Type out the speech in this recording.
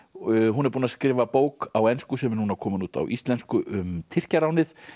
hún er búin að skrifa bók á ensku sem er núna komin út á íslensku um Tyrkjaránið